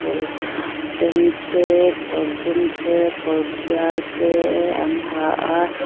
kawrz sen te kawr dum te kawr tial te an ha a.